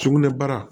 Sugunɛbara